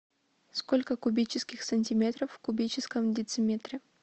сколько кубических сантиметров в кубическом дециметре